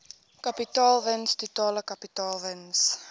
kapitaalwins totale kapitaalwins